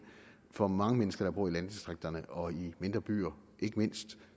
for mange mennesker der bor i landdistrikterne og i mindre byer ikke mindst